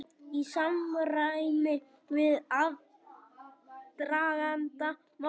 Í samræmi við aðdraganda málsins